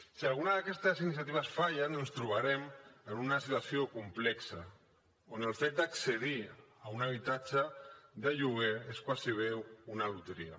si alguna d’aquestes iniciatives fallen ens trobarem en una situació complexa on el fet d’accedir a un habitatge de lloguer és gairebé una loteria